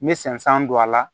N bɛ sɛnsɛn don a la